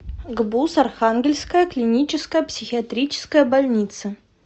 гбуз архангельская клиническая психиатрическая больница